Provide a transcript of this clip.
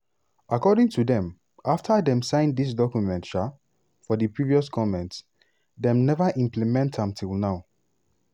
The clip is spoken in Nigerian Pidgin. according to dem afta dem sign dis document um for di previous goment dem neva implement am till now.